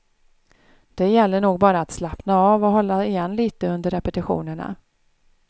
Det gäller nog bara att slappna av och hålla igen lite under repetitionerna.